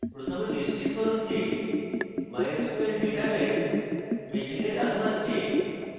প্রথমে নিশ্চিত করুন যে mysql database machine running হচ্ছে